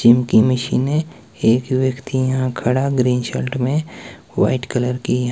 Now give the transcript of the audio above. gym की मशीनें एक व्यक्ति यहां खड़ा ग्रीन शर्ट में वाइट कलर की--